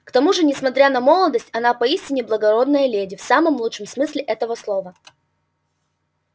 к тому же несмотря на молодость она поистине благородная леди в самом лучшем смысле этого слова